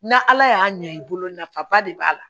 Na ala y'a ɲɛ i bolo nafaba de b'a la